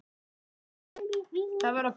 Ég var fársjúkur maður.